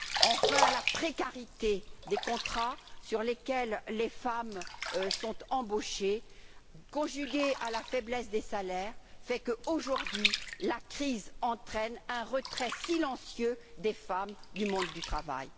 Enfin, la précarité des contrats, sur lesquels les femmes sont embauchées, conjuguée à la faiblesse des salaires, fait que, aujourd'hui, la crise entraîne un retrait silencieux des femmes du monde du travail.